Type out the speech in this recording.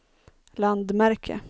landmärke